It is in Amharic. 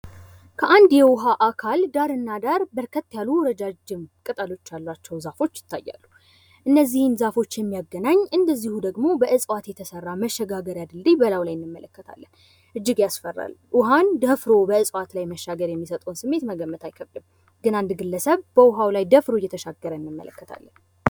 ከአንድ የውሃ አካል ዳርና ዳር በርከት ያሉ ረጃጅም ቅጠሎች ያሏቸው ዛፎች ይታያሉ። እነዚህን ዛፎች የሚያገናኝ እንደዚሁ ደግሞ በእጽዋት የተሰራ ድልድይ እንመለከታለን። እጅግ ያስፈራል። ውሃን ደፍሮ በእጽዋት ላይ መሻገር የሚሰጠውን ስሜት መገመት አይከብድም። ግን አንድ ግለሰብ በዉሃው ላይ ደፍሮ እየተሻገረ እንመለከታለን።